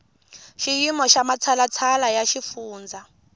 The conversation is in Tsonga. xiyimo xa matshalatshala ya xifundza